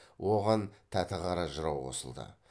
оған тәтіқара жырау қосылды